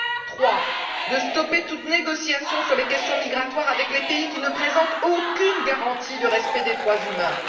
troisièmement, de stopper toute négociation sur les questions migratoires avec les pays qui ne présentent aucune garantie de respect des droits humains